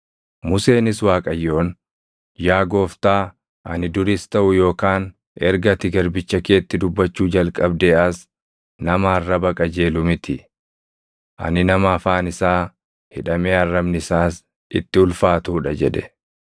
Museenis Waaqayyoon, “Yaa Gooftaa, ani duris taʼu yookaan erga ati garbicha keetti dubbachuu jalqabdee as nama arraba qajeelu miti. Ani nama afaan isaa hidhamee arrabni isaas itti ulfaatuu dha” jedhe.